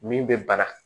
Min bɛ bana